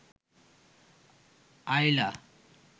আইলা